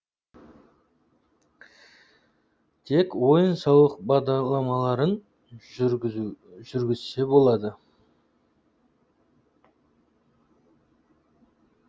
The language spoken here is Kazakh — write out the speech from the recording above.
тек ойын сауық бағдарламаларын жүргізсе болды